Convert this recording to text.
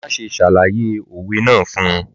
Má ṣe ṣàlàyé òwe náà fún un!